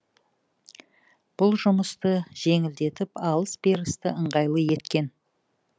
бұл жұмысты жеңілдетіп алыс берісті ыңғайлы еткен